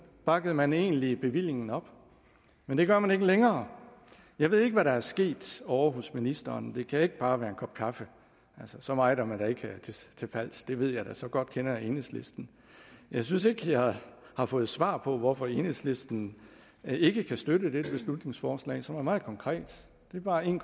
bakkede man egentlig bevillingen op men det gør man ikke længere jeg ved ikke hvad der er sket ovre hos ministeren det kan ikke bare være en kop kaffe så meget er man da ikke til fals det ved jeg da så godt kender jeg enhedslisten jeg synes ikke jeg har fået svar på hvorfor enhedslisten ikke kan støtte dette beslutningsforslag som er meget konkret det er bare en